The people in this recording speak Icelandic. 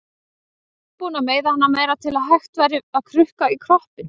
Alltaf tilbúin að meiða hana meira til að hægt væri að krukka í kroppinn.